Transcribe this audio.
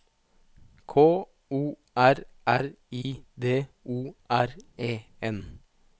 K O R R I D O R E N